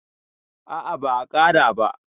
a a ba a Kara ba